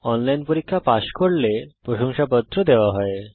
online পরীক্ষা pass করলে প্রশংসাপত্র দেওয়া হয়